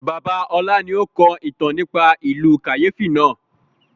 Bàbá ọlá ni ó kọ ìtàn nípa ìlú kàyéfi náà